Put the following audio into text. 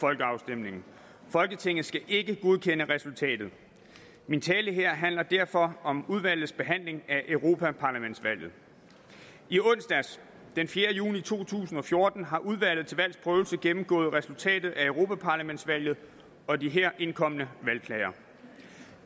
folkeafstemningen folketinget skal ikke godkende resultatet min tale her handler derfor om udvalgets behandling af europaparlamentsvalget i onsdags den fjerde juni to tusind og fjorten har udvalget til valgs prøvelse gennemgået resultatet af europaparlamentsvalget og de her indkomne valgklager